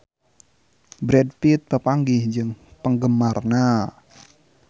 Brad Pitt papanggih jeung penggemarna